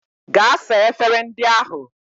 Gaa saa efere ndị ahụ!